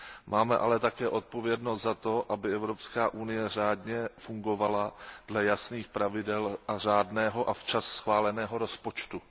Máme ale také odpovědnost za to, aby Evropská unie řádně fungovala dle jasných pravidel a řádného a včas schváleného rozpočtu.